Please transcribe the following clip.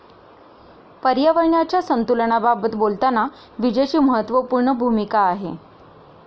पर्यावरणाच्या संतुलनाबाबत बोलताना विजेची महत्वपूर्ण भूमिका आहे.